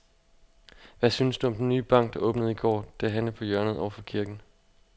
Hvad synes du om den nye bank, der åbnede i går dernede på hjørnet over for kirken?